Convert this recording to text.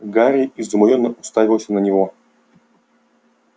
гарри изумлённо уставился на него